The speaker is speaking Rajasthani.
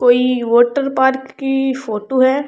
कोई वाटर पार्क की फोटो है।